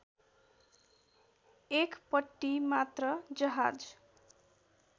एकपट्टि मात्र जहाज